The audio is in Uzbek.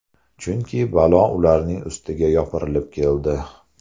Chunki balo ularning ustiga yopirilib keldi.